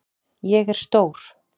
Ég er stór.